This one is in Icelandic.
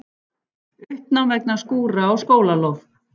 Uppnám vegna skúra á skólalóð